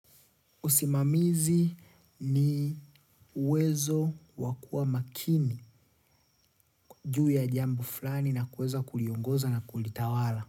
Usimamizi ni uwezo wa kuwa makini juu ya jambo fulani na kuweza kuliongoza na kulitawala.